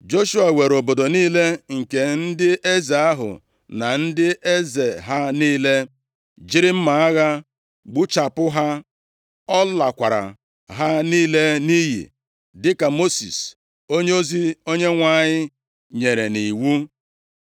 Joshua weere obodo niile nke ndị eze ahụ na ndị eze ha niile, + 11:12 \+xt Dit 7:2; 20:16\+xt* jiri mma agha gbuchapụ ha. Ọ lakwara ha niile nʼiyi, dịka Mosis onyeozi Onyenwe anyị nyere nʼiwu.